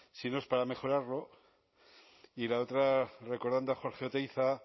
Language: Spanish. si no es para mejorarlo y la otra recordando a jorge oteiza